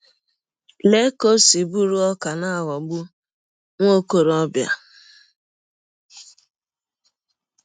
Lee ka ọ si bụrụ ọkà n’ịghọgbụ nwa ọkọrọbịa!